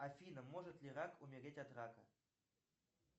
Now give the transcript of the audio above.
афина может ли рак умереть от рака